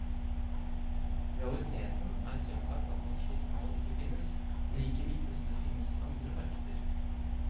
Realiteten er selvsagt at noe slikt mål ikke finnes, like lite som det finnes i andre markeder.